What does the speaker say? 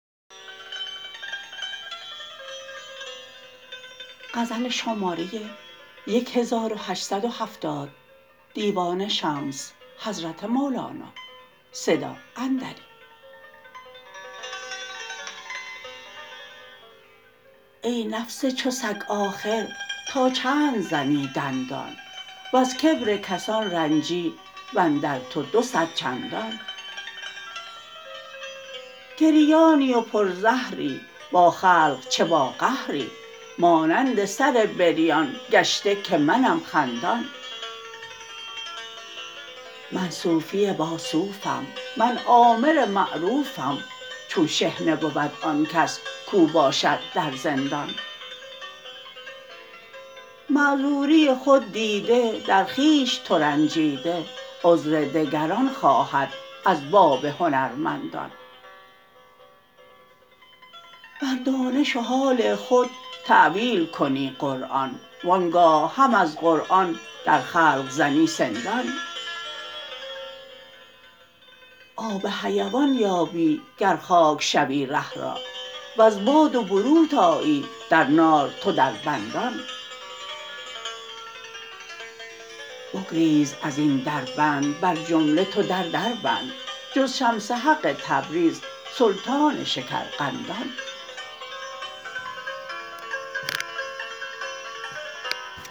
ای نفس چو سگ آخر تا چند زنی دندان وز کبر کسان رنجی و اندر تو دو صد چندان گریانی و پرزهری با خلق چه باقهری مانند سر بریان گشته که منم خندان من صوفی باصوفم من آمر معروفم چون شحنه بود آن کس کو باشد در زندان معذوری خود دیده در خویش ترنجیده عذر دگران خواهد از باب هنرمندان بر دانش و حال خود تأویل کنی قرآن وان گاه هم از قرآن در خلق زنی سندان آب حیوان یابی گر خاک شوی ره را وز باد و بروت آیی در نار تو دربندان بگریز از این دربند بر جمله تو در دربند جز شمس حق تبریز سلطان شکرقندان